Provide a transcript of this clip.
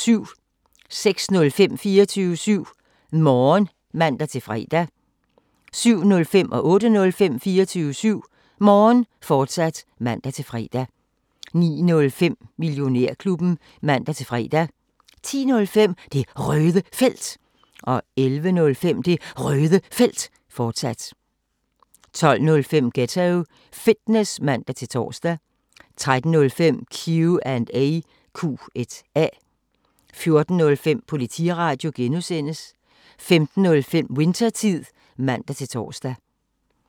06:05: 24syv Morgen (man-fre) 07:05: 24syv Morgen, fortsat (man-fre) 08:05: 24syv Morgen, fortsat (man-fre) 09:05: Millionærklubben (man-fre) 10:05: Det Røde Felt 11:05: Det Røde Felt, fortsat 12:05: Ghetto Fitness (man-tor) 13:05: Q&A 14:05: Politiradio (G) 15:05: Winthertid (man-tor)